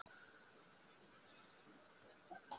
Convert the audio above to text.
Og það er sárt að lifa fyrir aðra en sjálfa sig.